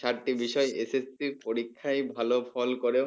সাতটি বিষয় SSC পরীক্ষায় ভালো ফল করেও